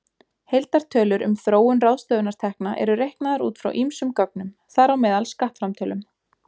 Heildartölur um þróun ráðstöfunartekna eru reiknaðar út frá ýmsum gögnum, þar á meðal skattframtölum.